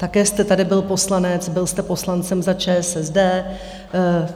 Také jste tady byl poslanec, byl jste poslancem za ČSSD.